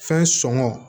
Fɛn sɔngɔ